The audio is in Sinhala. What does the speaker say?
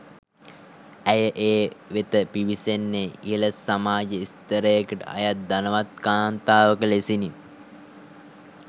ඇය ඒ වෙත පිවිසෙන්නේ ඉහළ සමාජ ස්ථරයකට අයත් ධනවත් කාන්තාවක ලෙසිනි.